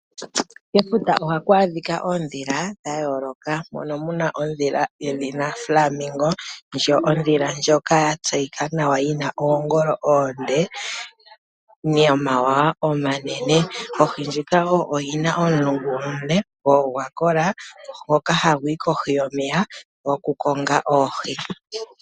Kefuta ohaku adhika oondhila dha yooloka momo muna ondhila yedhina Flamingo ndjo, ondhila ndjoka ya tseyika nawa yina oongolo oonde nomawawa omanene. Ondhila ndjika wo oyina omulungu omule go ogwa kola hagu yi kohi yomeya oku konga oohi.